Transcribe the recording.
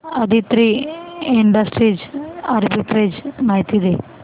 Aditri industries arbitrage माहिती दे